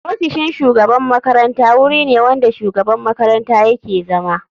Ofisin shugaban makaranta wuri ne wanda shugaban makaranta yake zama.